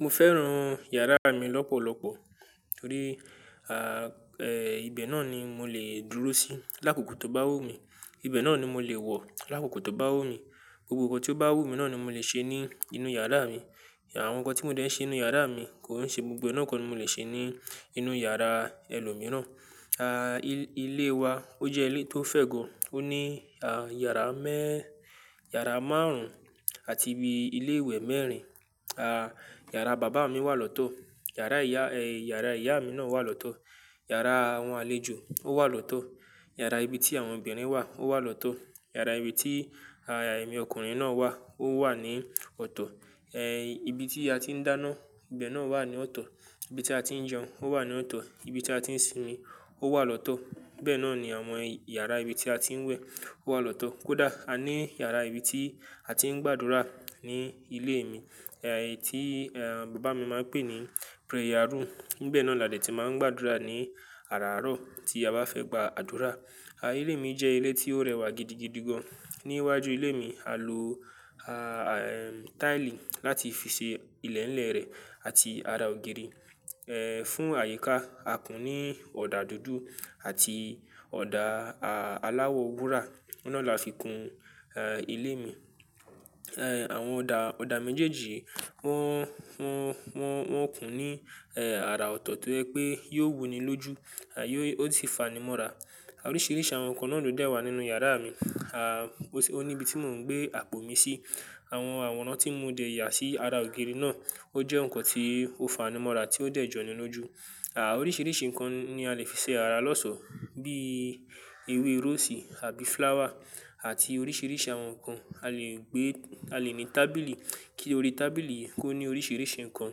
Mo fẹ́ràn yàrá mi lọ́pọ̀lọpọ̀ torí, à, ẹ́, ibẹ̀ náà ni mo lè dúró sí lákòókò tó bá wù mí. Ibẹ̀ náà ni mo lè wọ̀ lákòókò tó bá wù mí. Gbogbo nǹkan tí ó bá wù mí náà ni mo lè ṣe ní inú yàrá mi. Àwọn nǹkan tí mo dẹ̀ ṣe n nú yàrá mi kò ń ṣe gbogbo ẹ́ nàa ko ni mo lè ṣe ní inú yàrá ẹlòmíràn. À, ilé wa ó jẹ́ ilé tó fẹ́ gán. Ó ní, à, yàrá mẹ́-- yàrá márùn-ún àti ibi ilé ìwẹ̀ mẹ́rin. À, yàrá bàbá mi wà lọ́tọ́. Yàrá ìyá, ẹ́, yàrá ìyá mi náà wà lọ́tọ́. Yàrá àwọn àlejò ó wà lọ́tọ́. Yàrá ibi tí àwọn obìnrin wà ó wà lọ́tọ́. Yàrá ibi tí, à, ẹ̀mí ọkùnrin náà wà ó wà ní ọ̀tọ̀. Ẹ̀, ibi tí a ti ń dáná, ibẹ̀ náà wà ní ọ̀tọ̀. Ibi tí a ti ń jẹun ó wà ní ọ̀tọ̀. Ibi tí a ti ń sinmi ó wà lọ́tọ́. Bẹ́ẹ̀ náà ni àwọn yàrá ibi tí a ti ń wẹ̀ ó wà lọ́tọ́. Kódà a ní yàrá ibi tí a ti ń gbàdúrà ní ilé mi, ẹ́, tí, ẹ́, bàbá mi máa ń pè ní prayer room. Nibẹ̀ náà làdé tí máa ń gbàdúrà ní àràárọ̀ tí a bá fẹ́ gba àdúrà. À, ilé mi jẹ́ ilé tí ó rẹwà gidigidi gan. Ní iwájú ilé mi, a lo, a, ẹ́, táìlì láti fi ṣe ilẹ̀lẹ̀ rẹ̀ àti ara ògiri, ẹ́, fún àyíká. A kún un ní ọ̀dà dúdú àti ọ̀dà, a, aláwọ̀ wúrà. Ọ̀nà náà la fi kún, ẹ́, ilé mi. Ẹ́, àwọn ọ̀dà, ọ̀dà méjèèjì wọ́n, wọ́n, wọ́n, wọ́n kún un ní, ẹ́, ara ọ̀tọ̀ tó ẹ́ pé yóò wuni lójú, à, yóò-- ó sì fanimọ́ra. Oríṣiríṣi àwọn nǹkan náà ló dẹ̀ wà nínú yàrá mi. À, ó ní ibi tí mò ń gbé apò mi sí. Àwọn àwòrán tí mo ti ya sí ara ògiri náà ó jẹ́ nǹkan tí ó fanimọ́ra tí ó dẹ̀ jọni lójú. À, oríṣiríṣi nǹkan ni a lè fi ṣe ara lọ́ṣọ̀ọ́ bí i ewé rósì àbí flower àti oríṣiríṣi àwọn nǹkan. A lè gbé-- a lè ní tábìlì kí orí tábìlì kó ní oríṣiríṣi nǹkan.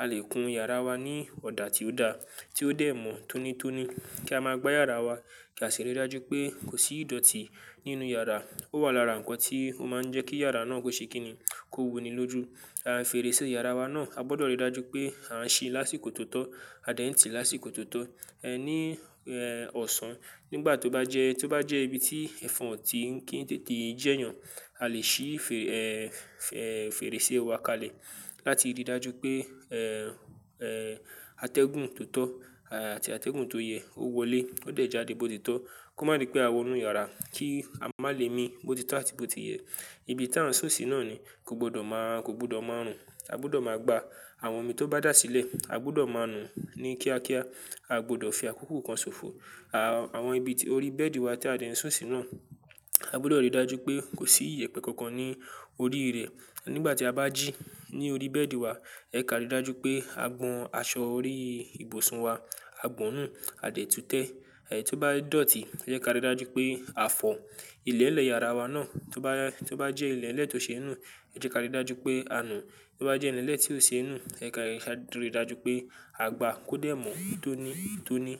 A lè kún yàrá wa ní ọ̀dà tí ó da, tí ó dẹ̀ mọ́ tónítóní kí a máa gbá yàrá wa kí a sì rí dájú pé kò sí ìdọ̀tí nínú yàrá. Ó wà lára nǹkan tí ó máa ń jẹ́ kí yàrá náà kó ṣe kíni, kó wuni lójú. À, fèrèsé yàrá wa náà a gbọdọ̀ rí dájú pé a ń ṣí lásìkò tó tọ́, a dẹ̀ ń tì lásìkò tó tọ́. Ní, ẹ́, ọ̀sán nígbà tó bá jẹ́, tó bá jẹ́ ibi tí ẹ̀fọn ò tí ń kí i jẹ́yàn, a lè ṣí fè, ẹ́, ẹ́, fèrèsé wa kalẹ̀ láti rí dájú pé, ẹ́, ẹ́, atẹ́gùn tó tọ́, à, àti atẹ́gùn tó yẹ ó wọlé ó dẹ̀ jáde bó ti tọ́ kó má dí pé a wọnú yàrá kí a má lè mi bó ti tọ́ àti bó ti yẹ. Ibi tí a ń sùnsun náà ni kò gbọdọ̀ má, kò gbọdọ̀ máa run. A gbọdọ̀ máa gba àwọn omi tó bá dà sílẹ̀, a gbọdọ̀ máa nu ní kíákíá. A gbọdọ̀ fi àkókò kan ṣòfò. À, àwọn ibi orí bẹ́ẹ̀dì wà tí a de ń sùnsun si náà. A gbọdọ̀ rí dájú pé kò sí ìyẹ̀pẹ̀ kankan ní orí rẹ̀. Nígbà tí a bá jí ní orí bẹ́ẹ̀dì wa, ẹ kà rí dájú pé a gbọn aṣọ orí ìbùsùn wa, a gbọ́nùn, a dẹ̀ tú tẹ́. Ẹ̀, tó bá dọ̀tí ẹ jẹ́ ká rí dájú pé a fọ̀ ilẹ̀lẹ̀ yàrá wa náà. Tó bá, tó bá jẹ́ ilẹ̀ elẹ̀yi tó ṣi n nú, ẹ jẹ́ ká rí dájú pé a nù. Tó bá jẹ́ ilẹ̀nlẹ̀ tí ó ṣe nú, ẹ jẹ́ ká rí dájú pé a gbá kó dẹ̀ mọ́ tónítóní.